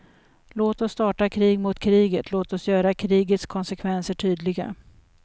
Låt oss starta krig mot kriget, låt oss göra krigets konsekvenser tydliga.